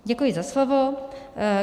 Děkuji za slovo.